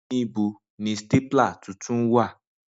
Nibo ni stapler tuntun wa?